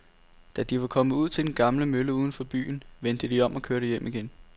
Da de var kommet ud til den gamle mølle uden for byen, vendte de om og kørte hjem igen.